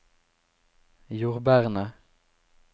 jordbærene